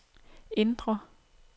indre